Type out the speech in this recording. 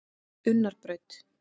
Unnarbraut